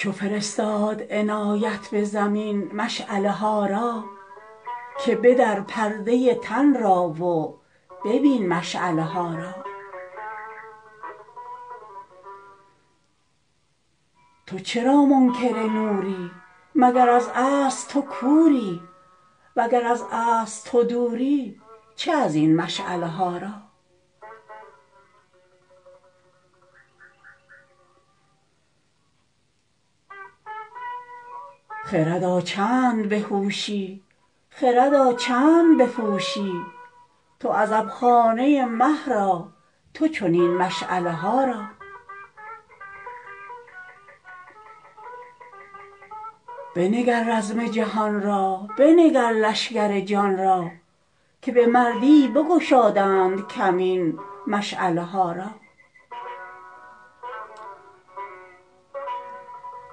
چو فرستاد عنایت به زمین مشعله ها را که بدر پرده تن را و ببین مشعله ها را تو چرا منکر نوری مگر از اصل تو کوری وگر از اصل تو دوری چه از این مشعله ها را خردا چند به هوشی خردا چند بپوشی تو عزبخانه مه را تو چنین مشعله ها را بنگر رزم جهان را بنگر لشکر جان را که به مردی بگشادند کمین مشعله ها را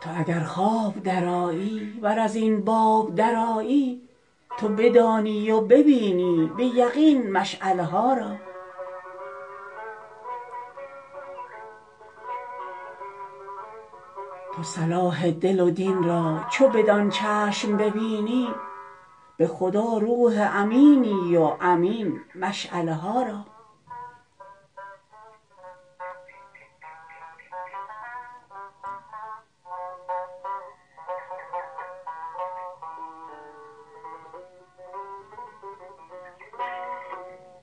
تو اگر خواب درآیی ور از این باب درآیی تو بدانی و ببینی به یقین مشعله ها را تو صلاح دل و دین را چو بدان چشم ببینی به خدا روح امینی و امین مشعله ها را